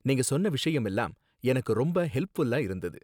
நீங்க சொன்ன விஷயம் எல்லாம் எனக்கு ரொம்ப ஹெல்ப்ஃபுல்லா இருந்தது.